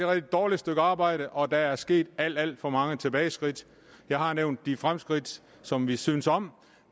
rigtig dårligt stykke arbejde og at der er sket alt alt for mange tilbageskridt jeg har nævnt de fremskridt som vi synes om